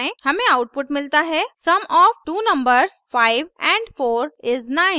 हमें आउटपुट मिलता है sum of two numbers 5 & 4 is 9